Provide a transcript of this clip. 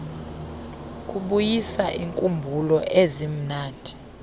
kubuyisa iinkumbulo ezimnandi